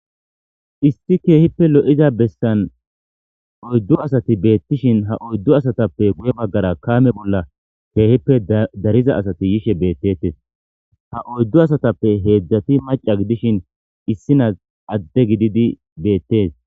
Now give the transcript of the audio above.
Issi kehi lo'iza bessan oydu asati betishin ha oydu asatape guye bagara kame bola.kehipe dariza asati yishe betetes ha oydu asatape hezhati maca gidishin isinazi adde gididi beetes.